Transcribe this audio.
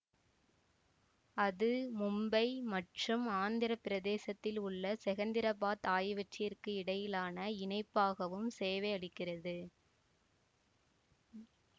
அது மும்பை மற்றும் ஆந்திர பிரதேசத்திலுள்ள செகந்திராபாத் ஆகியவற்றிற்கிடையிலான இணைப்பாகவும் சேவையளிக்கிறது